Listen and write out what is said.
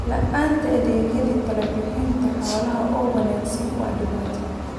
La'aanta adeegyadii talo-bixinta xoolaha oo wanaagsan waa dhibaato.